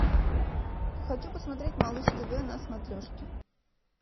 хочу посмотреть малыш тв на смотрешке